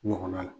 Ɲɔgɔnna la